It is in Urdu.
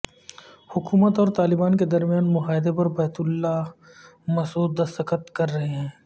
حکومت اور طالبان کے درمیان معاہدے پر بیت اللہ محسود دستخط کر رہے ہیں